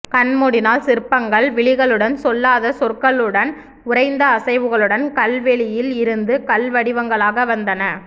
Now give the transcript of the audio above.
கண்மூடினால் சிற்பங்கள் விழிகளுடன் சொல்லாத சொற்களுடன் உறைந்த அசைவுகளுடன் கல்வெளியில் இருந்து கல்வடிவங்களாக வந்தன